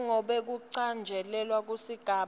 njengobe kucatjangelwe kusigaba